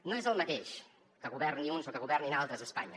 no és el mateix que governin uns o que governin altres a espanya